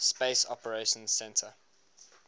space operations centre